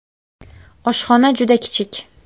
Oshxona juda kichik.